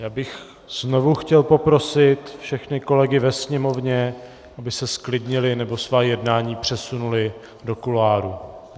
Já bych znovu chtěl poprosit všechny kolegy ve sněmovně, aby se zklidnili nebo svá jednání přesunuli do kuloárů.